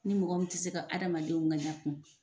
Ni mɔgɔ min tɛ se ka adamadenw ŋaɲa kun.